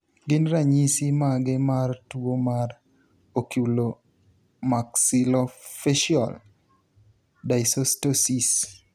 Gin ranyisi mage mar tuo mar Oculomaxillofacial dysostosis?